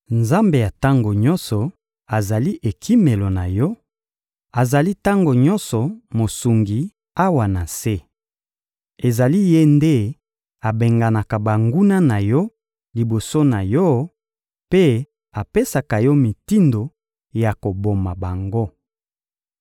Nzambe ya tango nyonso azali ekimelo na yo, azali tango nyonso Mosungi awa na se. Ezali Ye nde abenganaka banguna na yo liboso na yo mpe apesaka yo mitindo ya koboma bango.